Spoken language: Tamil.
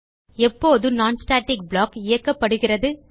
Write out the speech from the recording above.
எப்போது non ஸ்டாட்டிக் ப்ளாக் இயக்கப்படுகிறது